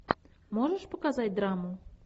можешь показать драму